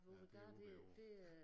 Ja det er ude ved æ å ja